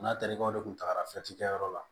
N'a tarikɛw de tun tagara kɛyɔrɔ la